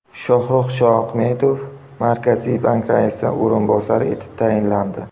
Shohrux Shoahmedov Markaziy bank raisining o‘rinbosari etib tayinlandi.